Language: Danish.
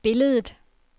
billedet